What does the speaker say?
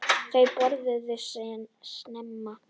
Þau borðuðu snemma.